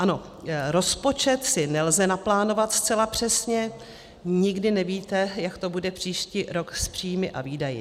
Ano, rozpočet si nelze naplánovat zcela přesně, nikdy nevíte, jak to bude příští rok s příjmy a výdaji.